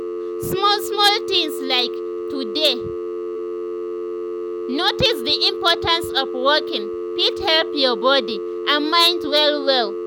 small small things like to dey notice the importance of walking fit help your body and mind well well.